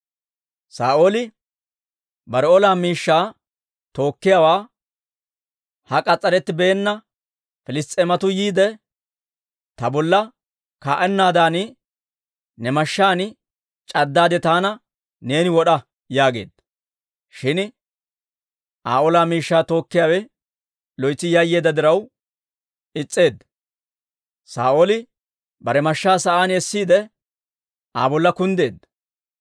Saa'ooli bare ola miishshaa tookkiyaawaa, «Ha k'as's'arettibeenna Piliss's'eematuu yiide, ta bolla kaa'ennaadan, ne mashshaan c'addaade, taana neeni wod'a» yaageedda. Shin Aa ola miishshaa tookkiyaawe loytsi yayyeedda diraw is's'eedda; Saa'ooli bare mashshaa sa'aan essiide, Aa bolla kunddeedda.